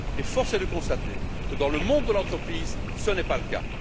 Force est de constater que, dans le monde de l'entreprise, ce n'est pas le cas.